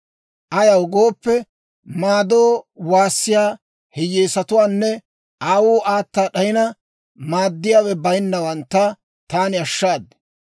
Ayaw gooppe, maadoo waassiyaa hiyyeesatuwaanne aawuu aata d'ayina, maaddiyaawe bayinnawantta taani ashshaad.